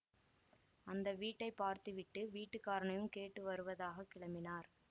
அந்த வீட்டை பார்த்துவிட்டு வீட்டுக்காரனையும் கேட்டு வருவதாக கிளம்பினார்